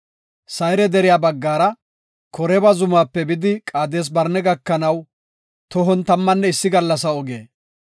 Sayre deriya baggara Koreeba zumaape bidi Qaades-Barne gakanaw tohon tammanne issi gallasa oge.